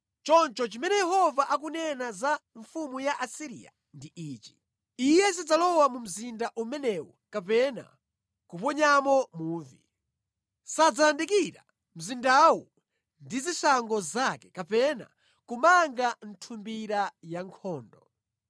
“Choncho chimene Yehova akunena za mfumu ya ku Asiriya ndi ichi: “ ‘Iye sadzalowa mu mzinda umenewu kapena kuponyamo muvi. Sadzayandikira mzindawu ndi zishango zake kapena kumanga nthumbira ya nkhondo.